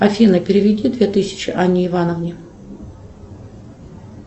афина переведи две тысячи анне ивановне